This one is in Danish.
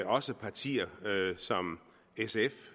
også et parti som sf